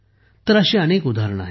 अशी अनेक उदाहरणे आहेत